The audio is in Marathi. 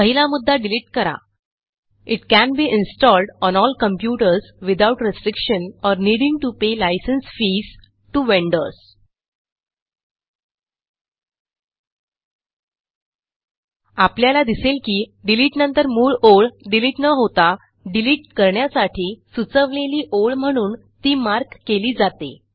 पहिला मुद्दा डिलिट करा it can be installed on all computers without restriction or needing to pay licence fees to vendors आपल्याला दिसेल की डिलिटनंतर मूळ ओळ डिलिट न होता डिलिट करण्यासाठी सुचवलेली ओळ म्हणून ती मार्क केली जाते